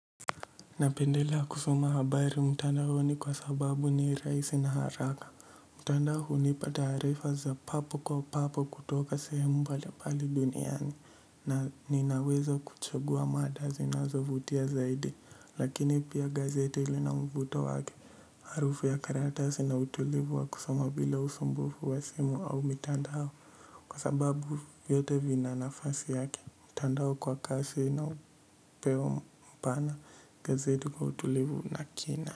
Napendelea kusoma habari mtandaoni kwa sababu ni rahisi na haraka, mtandao hunipa taarifa za papo kwa papo kutoka sehemu mbalimbali duniani na ninawezo kuchaguwa mada zinazovutia zaidi lakini pia gazete lina mvuto wake harufu ya karatasi na utulivu wa kusoma bila usumbufu wa simu au mtandao kwa sababu yote vina nafasi yake. Mtandao kwa kasi inayo pewa mpana gazeti kwa utulivu na kina.